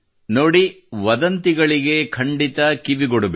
ನೋಡಿ ವದಂತಿಗಳಿಗೆ ಖಂಡಿತ ಕಿವಿಗೊಡಬೇಡಿ